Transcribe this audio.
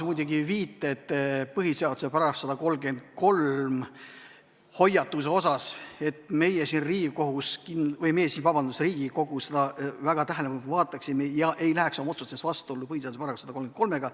Muidugi viitas Hanno põhiseaduse §-le 133 ja hoiatas, et meie siin Riigikogus seda väga tähelepanelikult loeksime ega läheks oma otsustes vastuollu põhiseaduse §-ga 133.